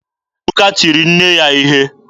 Ebuka tiri nne ya ihe.